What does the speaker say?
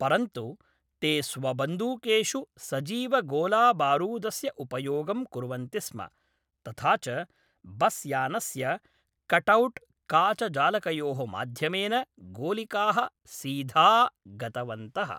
परन्तु ते स्वबन्दूकेषु सजीवगोलाबारूदस्य उपयोगं कुर्वन्ति स्म, तथा च बसयानस्य कटआउट् काचजालकयोः माध्यमेन गोलिकाः सीधा गतवन्तः ।